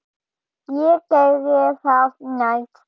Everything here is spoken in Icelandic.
Ég geri það næst.